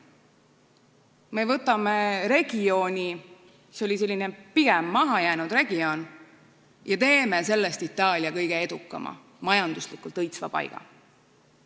Nad võtavad regiooni – see oli pigem selline mahajäänud regioon – ja teevad sellest Itaalia kõige edukama, majanduslikult õitsva paiga.